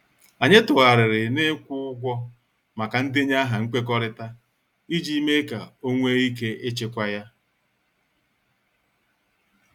Anyị tụgharịrị na- ikwu ụgwọ maka ndenye aha nkwekọrịta ,iji mee ka ọ nwee ike ịchịkwa ya.